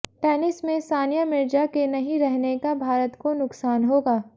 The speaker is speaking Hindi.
टेनिस में सानिया मिर्जा के नहीं रहने का भारत को नुकसान होगा